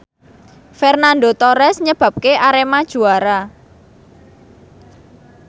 Fernando Torres nyebabke Arema juara